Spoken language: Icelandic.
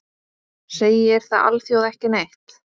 Segir það alþjóð ekki neitt?